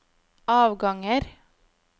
avganger